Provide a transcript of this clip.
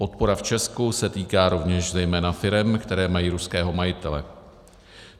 Podpora v Česku se týká rovněž zejména firem, které mají ruského majitele.